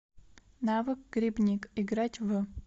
навык грибник играть в